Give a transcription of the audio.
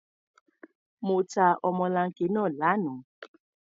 Mo ta ọmọlanke náà lánàá.